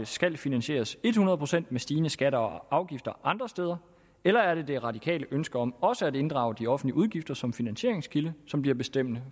skal finansieres hundrede procent med stigende skatter og afgifter andre steder eller er det radikale ønske om også at inddrage de offentlige udgifter som finansieringskilde som bliver bestemmende